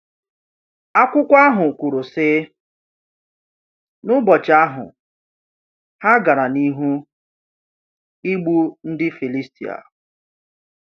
Akwụkwọ ahụ kwuru, sị: “N’ụbọchị ahụ, ha gara n’ihu igbu ndị Filistia.”